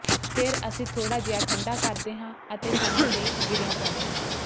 ਫਿਰ ਅਸੀਂ ਥੋੜਾ ਜਿਹਾ ਠੰਢਾ ਕਰਦੇ ਹਾਂ ਅਤੇ ਥਣਾਂ ਤੇ ਗਿਰੀਆਂ ਪਾਉਂਦੇ ਹਾਂ